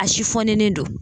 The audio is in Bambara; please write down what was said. A don.